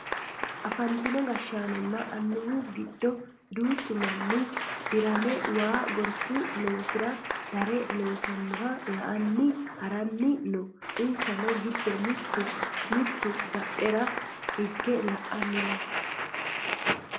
afantino gashshaanonna annuwu giddo duuchu manni dirame waa gorsu loosira darre loonsooniha la"anni haranni no insa giddo mittu badhera hige la"anni no